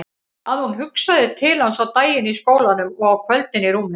Að hún hugsaði til hans á daginn í skólanum og á kvöldin í rúminu.